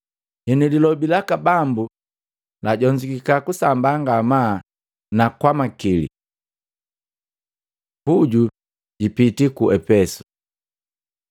Henu, lilobi laka Bambu lajonzukika kusambaa ngamaa na kwamakili. Puju jipiti ku Epeso